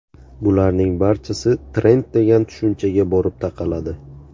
Bularning barchasi trend degan tushunchaga borib taqaladi.